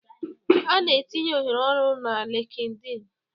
A na-etinye ohere ọrụ na LinkedIn